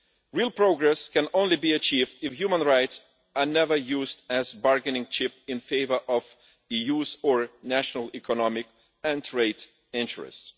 Real progress can only be achieved if human rights are never used as a bargaining chip in favour of EU or national economic and trade interests.